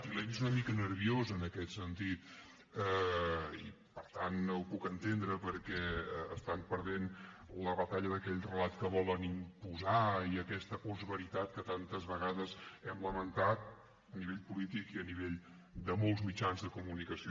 i l’he vist una mica nerviosa en aquest sentit i per tant ho puc entendre perquè estan perdent la batalla d’aquell relat que volen imposar i d’aquesta postveritat que tantes vegades hem lamentat a nivell polític i a nivell de molts mitjans de comunicació